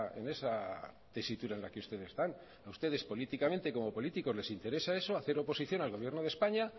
en esa tesitura en la que ustedes están a ustedes políticamente como políticos les interesa eso hacer oposición al gobierno de españa